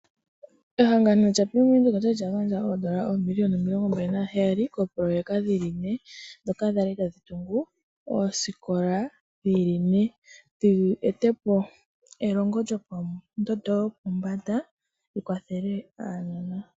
Ehangano lya bank Windhoek okwali lya gandja oondola oobiliyona omilongo mbali naheyali koopoloyeka dhili ne dhoka dhali dha li tadhi tungu oosikola dhili ne ,dhi etepo elongo lyopombanda li kwathele aanona.